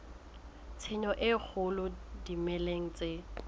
tshenyo e kgolo dimeleng tse